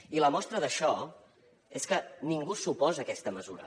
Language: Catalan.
i la mostra d’això és que ningú s’oposa a aquesta mesura